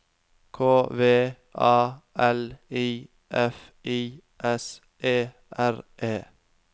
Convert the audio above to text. K V A L I F I S E R E